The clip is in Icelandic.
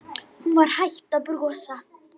Hún var hætt að brosa.